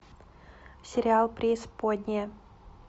сериал преисподняя